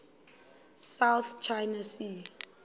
south china sea